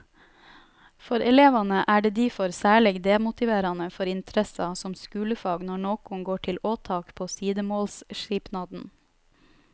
For elevane er det difor særleg demotiverande for interessa som skulefag når nokon går til åtak på sidemålsskipnaden.